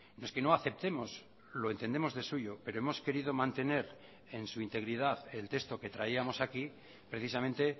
no es que no aceptemos lo entendemos de suyo pero hemos querido mantener en su integridad el texto que traíamos aquí precisamente